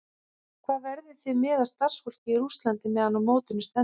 Hvað verðið þið með af starfsfólki í Rússlandi meðan á mótinu stendur?